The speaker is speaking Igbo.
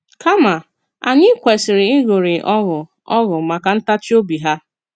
Kàma, anyị kwesiri ịṅụrị ọṅụ ọṅụ maka ntachi obi ha.